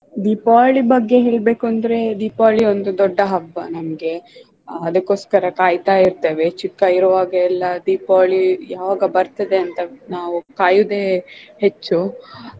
ದೀಪಾವಳಿ ಬಗ್ಗೆ ಹೇಳ್ಬೇಕು ಅಂದ್ರೆ ದೀಪಾವಳಿ ಒಂದು ದೊಡ್ಡ ಹಬ್ಬ ನಮ್ಗೆ ಆಹ್ ಅದಕೊಸ್ಕರ ಕಾಯ್ತಾ ಇರ್ತೆವೆ ಚಿಕ್ಕ ಇರುವಗೆಲ್ಲ ದೀಪಾವಳಿ ಯಾವಾಗ ಬರ್ತದೆ ಅಂತ ನಾವ್ ಕಾಯುದೆ ಹೆಚ್ಚು.